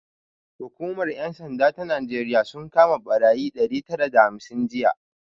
Hukumar 'yan sanda ta Najeriya sun kama barayi ɗari tara da hamsin jiya